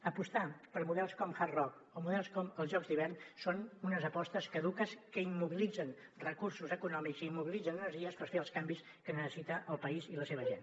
apostar per models com hard rock o models com els jocs d’hivern són unes apostes caduques que immobilitzen recursos econòmics i immobilitzen energies per fer els canvis que necessita el país i la seva gent